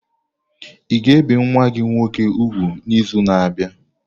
A ga-ebi nwa gị nwoke úgwù n'izu na-abịa?